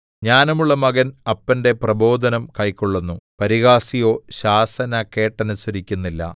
ജ്ഞാനമുള്ള മകൻ അപ്പന്റെ പ്രബോധനം കൈക്കൊള്ളുന്നു പരിഹാസിയോ ശാസന കേട്ടനുസരിക്കുന്നില്ല